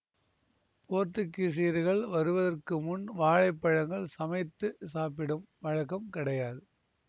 போர்த்துகீசியர்கள் வருவதற்கு முன் வாழைப்பழங்கள் சமைத்து சாப்பிடும் வழக்கம் கிடையாது